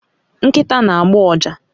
Nkita na agba uja